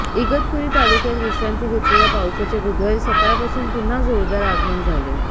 इगतपुरी तालुक्यात विश्रांती घेतलेल्या पावसाचे बुधवारी सकाळपासून पुन्हा जोरदार आगमन झाले